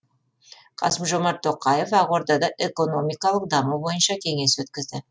қасым жомарт тоқаев ақордада экономикалық даму бойынша кеңес өткізді